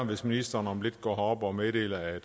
hvis ministeren om lidt går herop og meddeler at